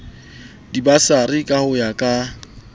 dibasari ka ho ya ka